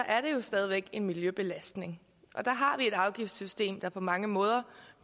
er det jo stadig væk en miljøbelastning der har vi et afgiftssystem der på mange måder